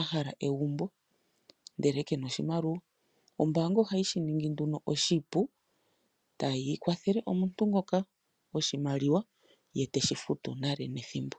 ahala egumbo ndele kena oshimaliwa. Ombanga ohayi shi ningi nduno oshipu etayi kwathele omuntu ngoka oshimaliwa ye teshi futu nale nethimbo.